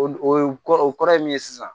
O o ye kɔrɔ o kɔrɔ ye min ye sisan